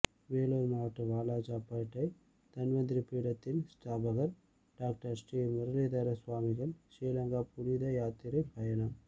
வேலூர் மாவட்டம் வாலாஜாபேட்டை தன்வந்திரி பீடத்தின் ஸ்தாபகர் டாக்டர் ஸ்ரீமுரளிதர ஸ்வாமிகள் ஸ்ரீலங்கா புனித யாத்திரை பயணம்